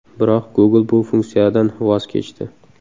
Biroq Google bu funksiyadan voz kechdi.